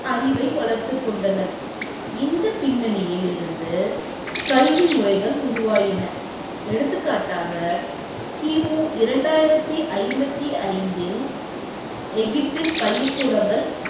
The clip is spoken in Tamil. அறிவை வளர்த்து கொண்டனர். இந்த பின்னணியிலிருந்து கல்வி முறைகள் உருவாயின எடுத்துக்காட்டாக கிமு இரண்டாயிரத்தி ஐம்பதி ஐந்தில் இல் எகிப்தில் பள்ளி கூடங்கள்